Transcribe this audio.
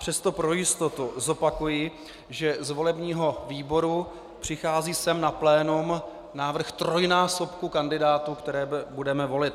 Přesto pro jistotu zopakuji, že z volebního výboru přichází sem na plénum návrh trojnásobku kandidátů, které budeme volit.